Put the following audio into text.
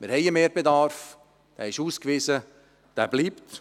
Wir haben einen Mehrbedarf, dieser ist ausgewiesen und dieser bleibt.